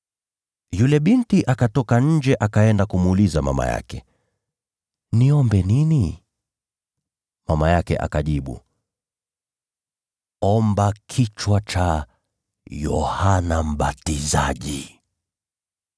Yule binti akatoka nje, akaenda kumuuliza mama yake, “Niombe nini?” Mama yake akamjibu, “Omba kichwa cha Yohana Mbatizaji.”